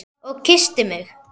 Og kyssti mig.